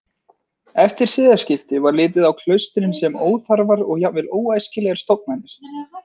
Eftir siðaskipti var litið á klaustrin sem óþarfar og jafnvel óæskilegar stofnanir.